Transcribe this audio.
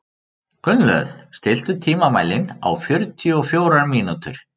Gunnlöð, stilltu tímamælinn á fjörutíu og fjórar mínútur.